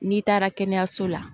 N'i taara kɛnɛyaso la